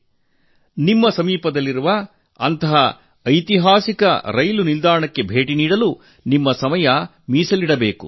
ನೀವು ನಿಮ್ಮ ಸಮೀಪದ ಅಂತಹ ಐತಿಹಾಸಿಕ ನಿಲ್ದಾಣಕ್ಕೆ ಭೇಟಿ ನೀಡಲು ಸಮಯವನ್ನು ತೆಗೆದಿರಿಸಿ